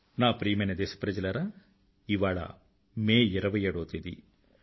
నా ప్రియమైన దేశప్రజలారా ఇవాళ మే 27వ తేదీ